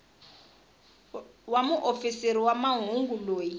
wa muofisiri wa mahungu loyi